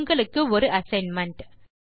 உங்களுக்கு ஒரு அசைன்மென்ட்